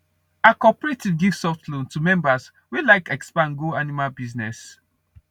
our cooperative give soft loan to members wey like expand go animal business